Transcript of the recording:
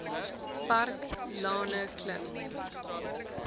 park lane klim